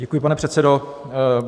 Děkuji, pane předsedo.